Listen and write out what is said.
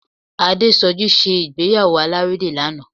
Adésọjí ṣe ìgbéyàwó alárédè lánàá